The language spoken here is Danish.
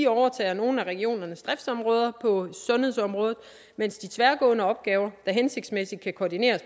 overtager nogle af regionernes driftsområder på sundhedsområdet mens de tværgående opgaver der hensigtsmæssigt kan koordineres